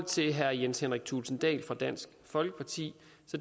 til herre jens henrik thulesen dahl fra dansk folkeparti